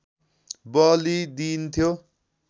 बलि दिइन्थ्यो